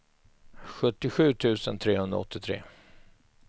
sjuttiosju tusen trehundraåttiotre